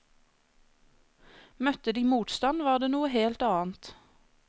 Møtte de motstand var det noe helt annet.